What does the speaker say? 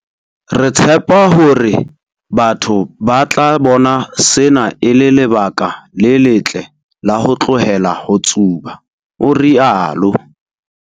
Re tshepa hore batho ba tla bona sena e le lebaka le letle la ho tlohela ho tsuba, o rialo.